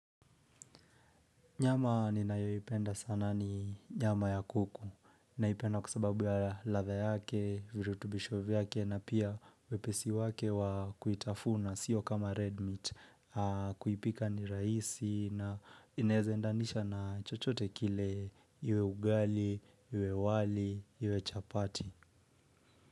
Nyama ninayoipenda sana ni nyama ya kuku. Naipenda kwa sababu ya ladha yake, virutubisho vyake na pia wepesi wake wa kuitafuna siyo kama red meat. Kuipika ni raisi na inaeza endanisha na chochote kile iwe ugali, iwe wali, iwe chapati.